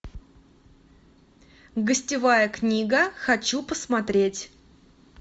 гостевая книга хочу посмотреть